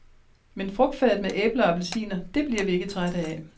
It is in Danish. Men frugtfadet med æbler og appelsiner, det bliver vi ikke trætte af.